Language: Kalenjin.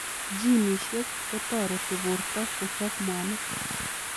Ginisiek kotoreti portoo kochoop mwanik .